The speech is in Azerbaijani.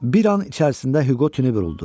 Bir an içərisində Hüqo tini vuruldu